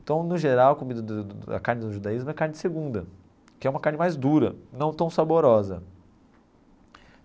Então, no geral, a comida do a carne do judaísmo é a carne segunda, que é uma carne mais dura, não tão saborosa.